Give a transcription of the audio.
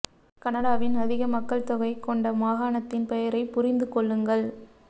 கனடாவின் அதிக மக்கள் தொகை கொண்ட மாகாணத்தின் பெயரை புரிந்து கொள்ளுங்கள்